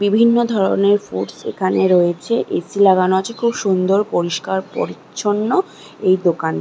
বিভিন্ন ধরনের ফ্রুটস এখানে রয়েছে। এ.সি. লাগানো আছে। খুব সুন্দর পরিষ্কার পরিচ্ছন্ন এই দোকান।